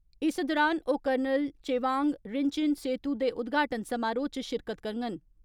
इस दौरान ओ कर्नल चेवांग रिनचेन सेतु दे उदघाटन समारोह च शिरकत करगंन।